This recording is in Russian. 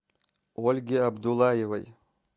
ольге абдуллаевой